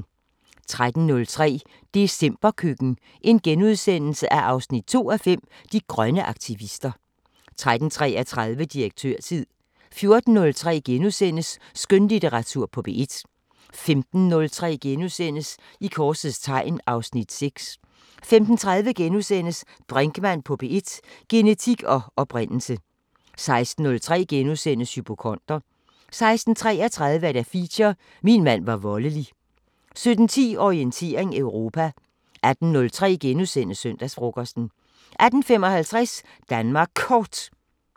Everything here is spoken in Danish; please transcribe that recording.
13:03: Decemberkøkken 2:5 – De grønne aktivister * 13:33: Direktørtid 14:03: Skønlitteratur på P1 * 15:03: I korsets tegn (Afs. 6)* 15:30: Brinkmann på P1: Genetik og oprindelse * 16:03: Hypokonder * 16:33: Feature: Min mand var voldelig 17:10: Orientering Europa 18:03: Søndagsfrokosten * 18:55: Danmark Kort